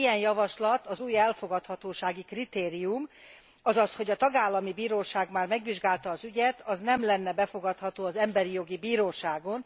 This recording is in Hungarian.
Ilyen javaslat az új elfogadhatósági kritérium, azaz hogy a tagállami bíróság már megvizsgálta az ügyet, az nem lenne befogadható az Emberi Jogi Bíróságon.